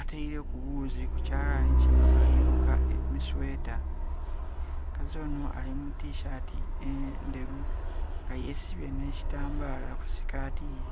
ataireku ghuuzi ku kyalanhi kinho ali luka emisweta, omukazi onho ali mu tisaati endheru nga yesibye nhe kitambala ku sikatiye.